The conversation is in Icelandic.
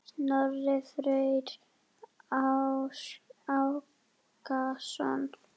Snorri Freyr Ákason.